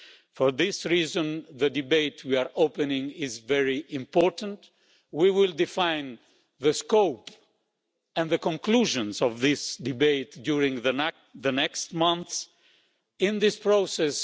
For this reason, the debate we are opening is very important, and we will define the scope and the conclusions of this debate during the next months in this process.